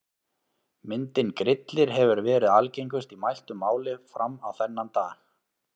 Myndin Grillir hefur verið algengust í mæltu máli fram á þennan dag.